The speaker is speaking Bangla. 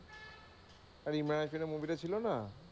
আরে ইমরান হাসমিনের movie টা ছিলো না।